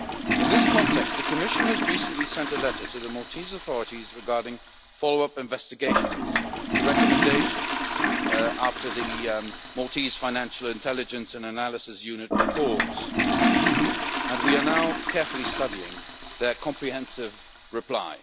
In this context, the Commission recently sent a letter to the Maltese authorities regarding follow up investigations to recommendations after the Maltese Financial Intelligence and Analysis Unit published its report, and we are now carefully studying their comprehensive reply.